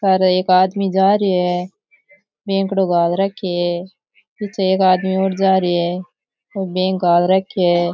सारे एक आदमी जा रहियो है बेगड़ो गाल राख्यो है पीछे एक आदमी और जा रियो है ओ बेग गाल रख्यो है।